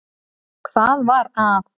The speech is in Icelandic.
Hvað var að?